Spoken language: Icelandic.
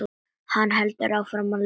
Hann heldur áfram að lesa: